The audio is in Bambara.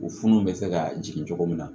U funun bɛ se kaa jigin cogo min na